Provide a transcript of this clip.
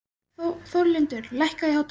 Þórlindur, lækkaðu í hátalaranum.